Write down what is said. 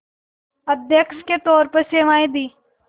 अध्यक्ष के तौर पर सेवाएं दीं